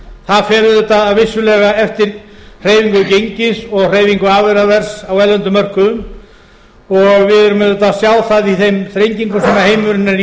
það fer auðvitað vissulega eftir hreyfingu gengis og hreyfingu afurðaverðs á erlendum mörkuðum og við erum auðvitað að sjá það í þeim þrengingum sem heimurinn er